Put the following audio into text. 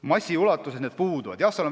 Massiliselt neid ei ole.